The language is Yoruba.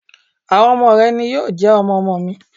Àwọn ọmọ rẹ̀ ni yóò jẹ́ ọmọ-ọmọ mi.